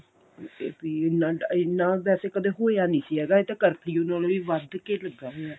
ਤੇ ਵੀ ਇੰਨਾ ਇੰਨਾ ਵੈਸੇ ਕਦੇ ਹੋਇਆ ਨਹੀਂ ਸੀ ਹੈਗਾ ਇਹ ਤਾਂ ਕਰਫਿਊ ਨਾਲੋਂ ਵੀ ਵੱਧ ਕੇ ਲੱਗਾ ਹੋਇਆ